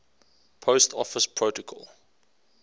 post office protocol